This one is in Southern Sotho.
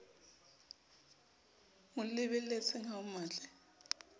mo lebelletseng ha o mmatle